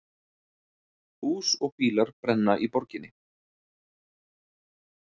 Hús og bílar brenna í borginni